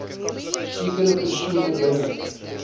sekere persone binne